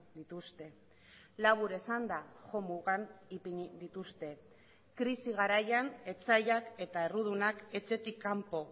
dituzte labur esanda jomugan ipini dituzte krisi garaian etsaiak eta errudunak etxetik kanpo